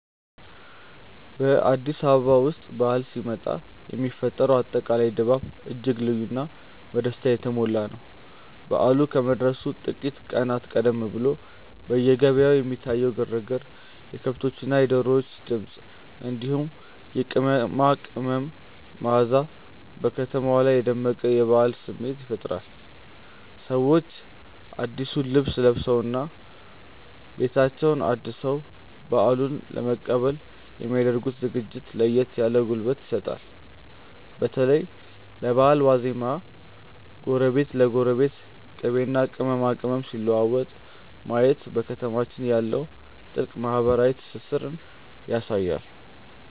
በአዲስ አበባ ውስጥ በዓል ሲመጣ የሚፈጠረው አጠቃላይ ድባብ እጅግ ልዩና በደስታ የተሞላ ነው። በዓሉ ከመድረሱ ጥቂት ቀናት ቀደም ብሎ በየገበያው የሚታየው ግርግር፣ የከብቶችና የዶሮዎች ድምፅ፣ እንዲሁም የቅመማ ቅመም መዓዛ በከተማዋ ላይ የደመቀ የበዓል ስሜት ይፈጥራል። ሰዎች አዲሱን ልብስ ለብሰውና ቤታቸውን አድሰው በዓሉን ለመቀበል የሚ ያደርጉት ዝግጅት ለየት ያለ ጉልበት ይሰጣል። በተለይ በበዓል ዋዜማ ጎረቤት ለጎረቤት ቅቤና ቅመማ ቅመም ሲለዋወጥ ማየት በከተማችን ያለውን ጥልቅ ማህበራዊ ትስስር ያሳያል።